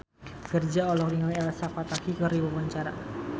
Virzha olohok ningali Elsa Pataky keur diwawancara